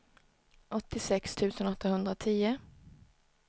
åttiosex tusen åttahundratio